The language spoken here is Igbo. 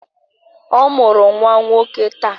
Ọ mụrụ nwa nwoke taa